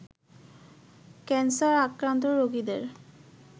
cancer আক্রান্ত রোগীদের